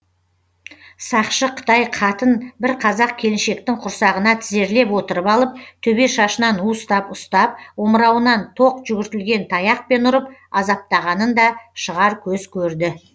сақшы қытай қатын бір қазақ келіншектің құрсағына тізерлеп отырып алып төбе шашынан уыстап ұстап омырауынан тоқ жүгіртілген таяқпен ұрып азаптағанын да шығар көз көрді